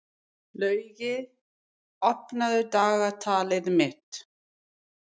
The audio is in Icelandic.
Laugey, opnaðu dagatalið mitt.